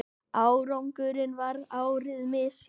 Árangurinn varð ærið misjafn.